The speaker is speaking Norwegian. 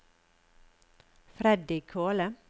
Freddy Kvåle